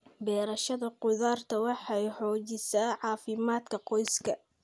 Beerashada khudaarta waxay xoojisaa caafimaadka qoyska.